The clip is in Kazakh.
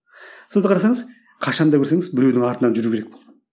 сонда қарасаңыз қашан да көрсеңіз біреудің артынан жүру керек болды